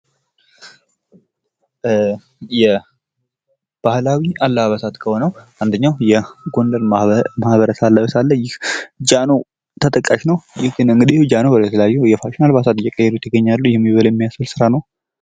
ባህላዊ አልባሳት መካከል የጎንደርን ባህላዊ ልብስ ማየት እንችላለን ።ይህም ጃኖ ነው ።